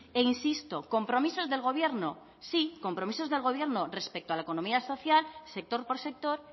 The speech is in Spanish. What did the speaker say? e insisto compromisos del gobierno sí compromisos del gobierno respecto a la economía social sector por sector